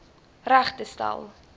reg te stel